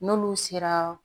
N'olu sera